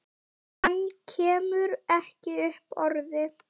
Hann kemur ekki upp orði.